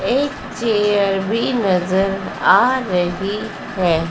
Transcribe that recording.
एक चेयर भी नजर आ रही है।